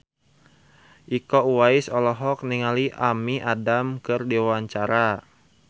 Iko Uwais olohok ningali Amy Adams keur diwawancara